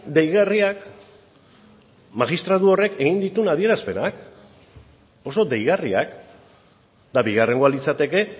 deigarriak magistratu horrek egin dituen adierazpenak oso deigarriak eta bigarrengoa litzateke